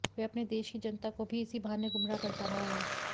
वह अपने देश की जनता को भी इसी बहाने गुमराह करता रहा है